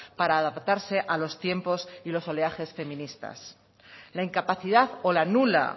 para adaptarse a los tiempos y los oleajes feministas la incapacidad o la nula